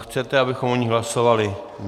Chcete, abychom o ní hlasovali?